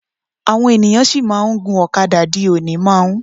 Àwọn ènìyàn sì máa ń gun ọ̀kadà di òní. máà ń